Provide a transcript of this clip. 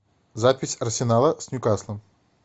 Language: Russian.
запись арсенала с ньюкаслом